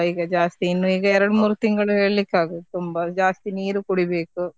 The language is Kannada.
ಈಗ ಜಾಸ್ತಿ, ಇನ್ನು ಈಗ ಎರಡು ಮೂರು ತಿಂಗಳು ಹೇಳಿಕ್ಕೆ ಆಗುದು ತುಂಬಾ ಜಾಸ್ತಿ ನೀರು ಕುಡಿಬೇಕು.